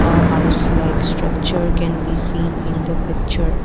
a house like structure can be seen in the picture.